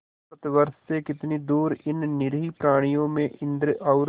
भारतवर्ष से कितनी दूर इन निरीह प्राणियों में इंद्र और